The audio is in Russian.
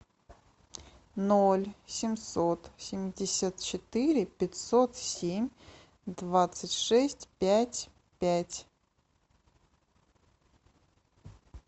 ноль семьсот семьдесят четыре пятьсот семь двадцать шесть пять пять